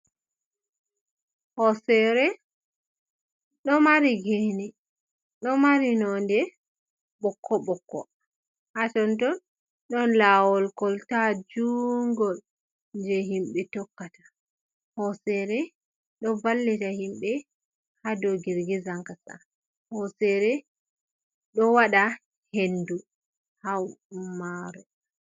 Hoosere ɗo mari gene, ɗo mari nonde ɓokko-ɓokko ha ton ton ɗon lawol kolta juungol je himɓe tokkata. Hoosere ɗo vallita himɓe haa dow girgizan kasa. Hoosere ɗo waɗa hendu haa mare.